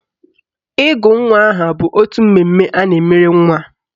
Ịgụ nwa aha bụ otu mmemme a na-emere nwa